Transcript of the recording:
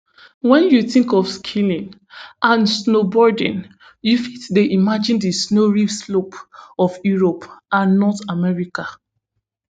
wen you tink of skiing and snowboarding you fit dey imagine di snowy slopes of europe and north america